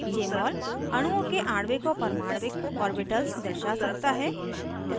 jmol अणुओं के आणविक और परमाण्विक ऑर्बिटल्स दर्शा सकता है